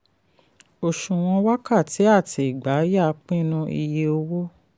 òṣùwọ̀n wákàtí àti ìgbà yá pinnu iye owó.